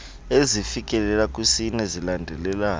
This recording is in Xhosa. ezifikelela kwisine zilandelelana